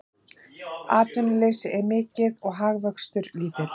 Atvinnuleysi er mikið og hagvöxtur lítill